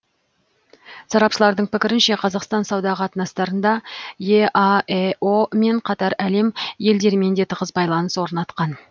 сарапшылардың пікірінше қазақстан сауда қатынастарында еаэо мен қатар әлем елдерімен де тығыз байланыс орнатқан